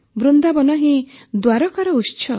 ବୃନ୍ଦାବନ ହିଁ ଦ୍ୱାରକାର ଉତ୍ସ